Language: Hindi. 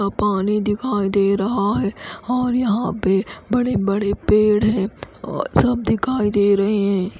पानी दिखाई दे रहा है और यहाँ पे बड़े बड़े पेड़ है और सब दिखाई दे रहे है।